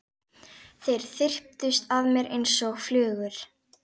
Þeir þyrptust að mér einsog flugur.